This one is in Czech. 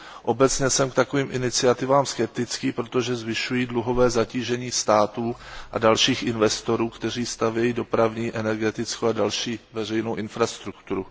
Obecně jsem k takovým iniciativám skeptický, protože zvyšují dluhové zatížení států a dalších investorů, kteří stavějí dopravní, energetickou a další veřejnou infrastrukturu.